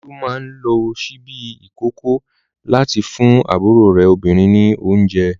Olú máa ń lo ṣíbí ìkókó láti fún àbúrò rẹ̀ obìnrin ní oúnjẹ.